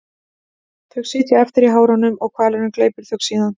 Þau sitja eftir í hárunum og hvalurinn gleypir þau síðan.